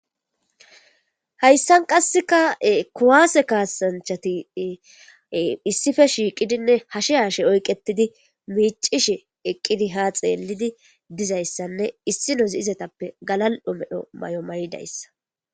hayssan qasseka kuwaase kaasanchati issife shiiqidinne hashe hashe oyqetidi miicishe eqqidi ha xeelidi dizayssanne issinozi izetappe galal7o medho may7o maydayssa